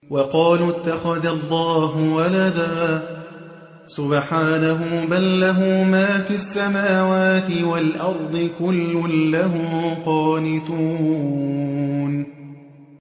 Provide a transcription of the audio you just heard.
وَقَالُوا اتَّخَذَ اللَّهُ وَلَدًا ۗ سُبْحَانَهُ ۖ بَل لَّهُ مَا فِي السَّمَاوَاتِ وَالْأَرْضِ ۖ كُلٌّ لَّهُ قَانِتُونَ